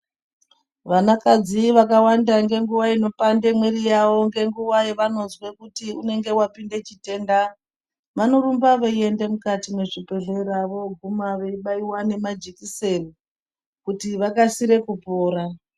Vana kadzi vakawanda nge nguva ino pande mwiri yavo nge nguva yavanozwe kuti unenge wapinde chitenda vanorumba vei ende mukati mwe zvibhedhlera voguma vei baiwa ne majekiseni kuti vakasire kupora.